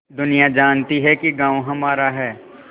दुनिया जानती है कि गॉँव हमारा है